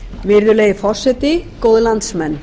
virðulegi forseti góðir landsmenn